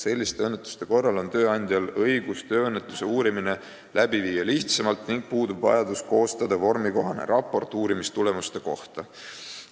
Selliste õnnetuste korral on tööandjal õigus tööõnnetust uurida lihtsamalt ning puudub vajadus koostada vormikohane raport uurimistulemuste kohta.